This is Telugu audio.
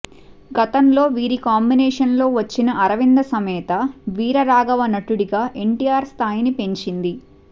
గతంలో వీరి కాంబినేషన్లో వచ్చిన అరవింద సమేత వీర రాఘవ నటుడిగా ఎన్టీఆర్ స్థాయిని పెంచింది